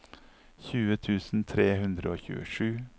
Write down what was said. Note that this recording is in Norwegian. tjue tusen tre hundre og tjuesju